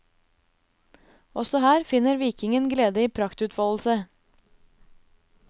Også her finner vikingen glede i praktutfoldelse.